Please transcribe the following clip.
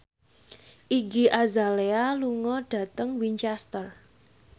Iggy Azalea lunga dhateng Winchester